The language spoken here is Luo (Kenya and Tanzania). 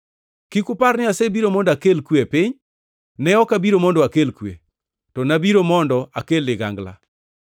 “Kik upar ni asebiro mondo akel kwe e piny. Ne ok abiro mondo akel kwe, to nabiro mondo akel ligangla.